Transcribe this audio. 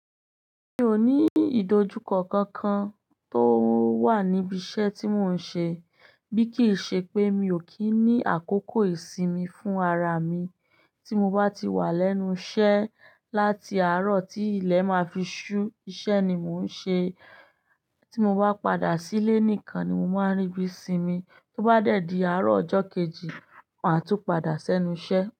Mi ò ní ìdojúkọ kankan tó wà níbi iṣẹ́ tí mò ń ṣe. Bí kì í ṣe pé mi ò kí ń ní àkókò ìsinmi fún ara mi tí mo bá ti wà lẹ́nu iṣẹ́ láti àárọ̀ tí ilẹ̀ máa fi ṣú, iṣẹ́ ni mò ń ṣe. Tí mo bá padà sílé nìkan ni mo máa ń rí bí sinmi. Tó bá dẹ̀dí àárọ̀ ọjọ́ kejì, máa tún padà sẹ́nu iṣẹ́